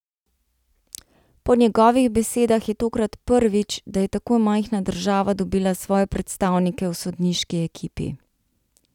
Po njegovih besedah je tokrat prvič, da je tako majhna država dobila svoje predstavnike v sodniški ekipi.